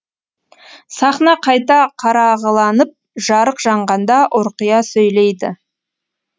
сахна қайта қарағыланып жарық жанғанда ұрқия сөйлейді